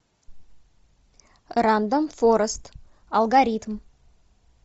рандом форест алгоритм